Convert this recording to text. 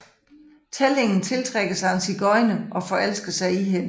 Tællingen tiltrækkes af en sigøjner og forelsker sig i hende